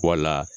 Wala